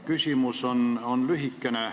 Küsimus on lühikene.